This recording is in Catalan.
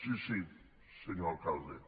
sí sí senyor alcalde